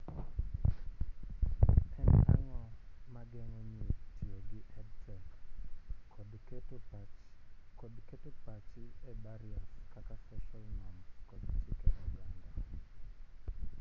en ang'o mageng'o nyiri tiyo gi EdTech, kod keto pachi ee barriers kaka social norms kod chike oganda